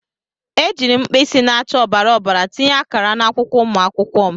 Ejiiri m mkpịsị na-acha ọbara ọbara tinye akara n'akwụkwọ ụmụ akwụkwọ m.